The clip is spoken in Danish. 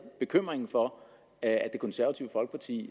bekymringen for at det konservative folkeparti